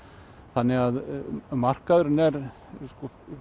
þannig að markaðurinn er stór